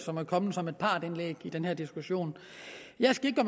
som er kommet som et partsindlæg i den her diskussion jeg skal ikke